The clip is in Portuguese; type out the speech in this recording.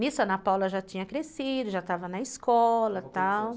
Nisso, a Ana Paula já tinha crescido, já estava na escola e tal.